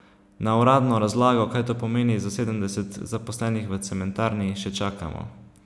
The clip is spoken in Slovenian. Na uradno razlago, kaj to pomeni za sedemdeset zaposlenih v cementarni, še čakamo.